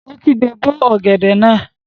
Ó kígbe, 'bó ọ̀gẹ̀dẹ̀ náà!